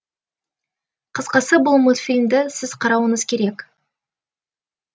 қысқасы бұл мультфильмді сіз қарауыңыз керек